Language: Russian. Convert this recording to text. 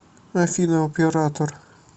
афина оператор